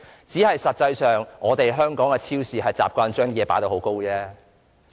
不過，實際上，只是香港的超市習慣把貨品疊高而已。